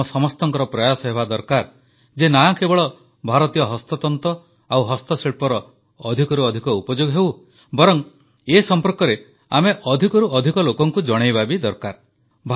ଆମ ସମସ୍ତଙ୍କର ପ୍ରୟାସ ହେବା ଦରକାର ଯେ ନା କେବଳ ଭାରତୀୟ ହସ୍ତତନ୍ତ ଓ ହସ୍ତଶିଳ୍ପର ଅଧିକରୁ ଅଧିକ ଉପଯୋଗ ହେଉ ବରଂ ଏ ସମ୍ପର୍କରେ ଆମେ ଅଧିକରୁ ଅଧିକ ଲୋକଙ୍କୁ ଜଣାଇବା ବି ଦରକାର